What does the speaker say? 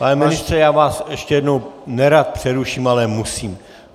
Pane ministře, já vás ještě jednou nerad přeruším, ale musím.